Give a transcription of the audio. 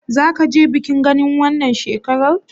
Zaka je bikin Gani wannan shekarar?